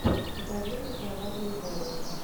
покажи мне кровавую барыню